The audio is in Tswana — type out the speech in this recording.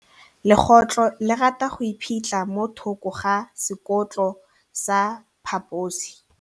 Legôtlô le rata go iphitlha mo thokô ga sekhutlo sa phaposi.